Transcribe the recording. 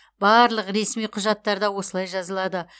барлық ресми құжаттарда осылай жазылады